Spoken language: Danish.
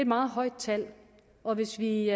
meget højt tal og hvis vi